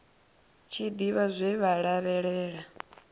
tshi ḓivha zwe vha lavhelela